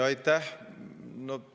Aitäh!